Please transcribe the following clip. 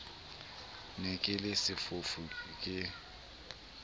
ne ke le sefofu ke